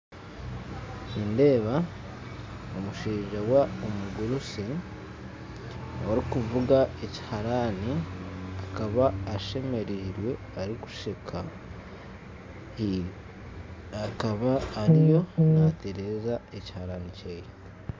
Nindeeba omushaija wa omugurusi orikuvuga ekiharaani akaba ashemereirwe arikusheka, akaba ariyo natereeza ekiharaani kyeye.